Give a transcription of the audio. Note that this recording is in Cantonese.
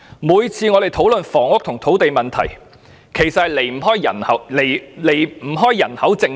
凡關乎房屋及土地問題的討論，皆離不開人口政策。